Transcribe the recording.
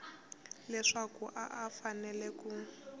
leswaku a a fanele ku